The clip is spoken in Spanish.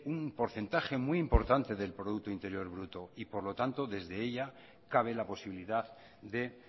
un porcentaje muy importante del producto interior bruto y por lo tanto desde ella cabe la posibilidad de